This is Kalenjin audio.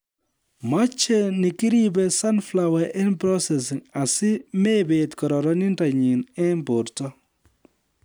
Machei nikiribe sunflower eng processing asi mebet kororindonyi eng borto